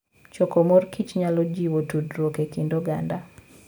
Choko mor kich nyalo jiwo tudruok e kind oganda.